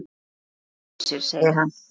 Að hugsa sér segir hann.